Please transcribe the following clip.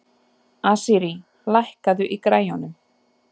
Asírí, lækkaðu í græjunum.